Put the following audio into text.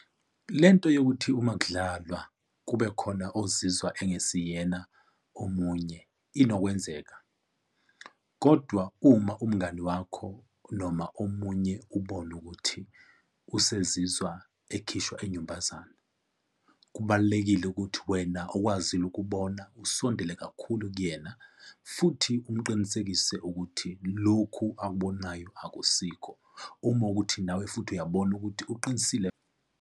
Le nto yokuthi uma kudlalwa kubekhona ozizwa ongesiyena omunye inokwenzeka. Kodwa uma umngani wakho noma omunye ubona ukuthi usezizwa ekhishwa inyumbazana, kubalulekile ukuthi wena okwazile ukubona usondele kakhulu kuyena. Futhi umqinisekise ukuthi lokhu akubonayo akusiko uma kuwukuthi nawe futhi uyabona ukuthi uqinisile.